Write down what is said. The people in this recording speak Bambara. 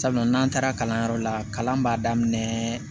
Sabula n'an taara kalanyɔrɔ la kalan b'a daminɛ